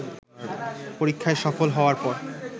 পরীক্ষায় সফল হওয়ার পর